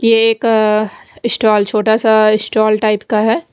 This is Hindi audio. ये एक स्टॉल छोटा सा स्टॉल टाइप का है।